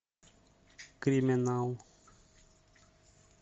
криминал